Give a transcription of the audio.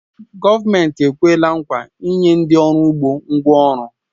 Gọọmenti ekwela nkwa inye ndị uru ugbo ngwá ọrụ